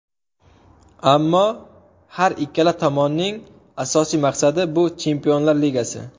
Ammo har ikkala tomonning asosiy maqsadi, bu Chempionlar Ligasi.